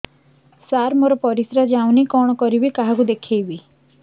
ସାର ମୋର ପରିସ୍ରା ଯାଉନି କଣ କରିବି କାହାକୁ ଦେଖେଇବି